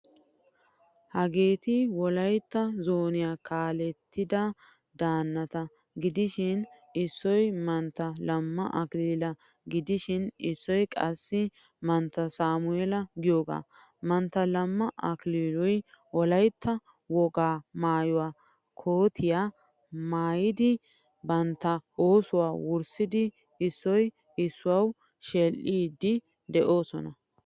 Hageeti wolaytta zooniyaa kaalettida danata gidishin issoy mantta lama akilila gidishin issoy qassi mantta samuela giyoga. Mantta lama akililuy wolaytta wogaa maayuwaa kootiyaa maayidi bantta oosuwaa wurssidi issoy issuwau sheedhdhidi deosona.